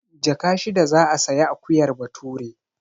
Jaka shida za a sayi akuyar Bature.